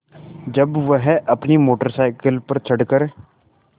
जब वह अपनी मोटर साइकिल पर चढ़ कर